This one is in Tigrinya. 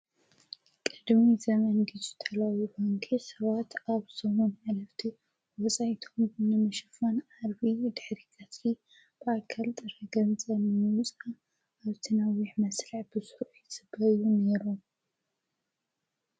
ቅድሚ ዘመን ጊዜ ተለዊጡ ሰባት ኣብ ሰሙም ኃለፍቲ ወፃይቶም ንምሽፋን ዓርቢ ድሕሪ ቃትሊ ብኣከልጥ ረገን ዘምዉፃ ኣብ ተናዊሕ መስልዕ ብሱዑ ይፅበዩም ነይሮም።